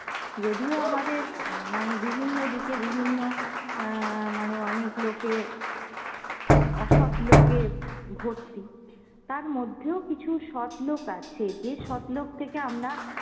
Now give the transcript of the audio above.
যদিও আমাদের উম মানে বিভিন্ন দিকে বিভিন্ন অ্যাঁ মানে অনেক লোকে অসৎ লোকে ভর্তি, তার মধ্যেও কিছু সৎ লোক আছে যে সৎ লোক থেকে আমরা